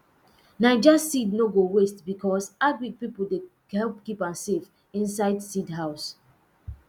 naija seed no go waste becos agric pipo dey help keep am safe inside seed house